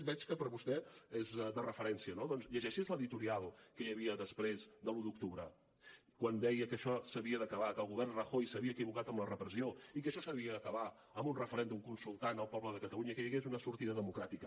veig que per a vostè és de referència no doncs llegeixi’s l’editorial que hi havia després de l’un d’octubre quan deia que això s’havia d’acabar que el govern rajoy s’havia equivocat amb la repressió i que això s’havia d’acabar amb un referèndum consultant el poble de catalunya i que hi hagués una sortida democràtica